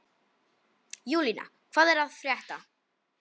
Júlína, hvað er að frétta?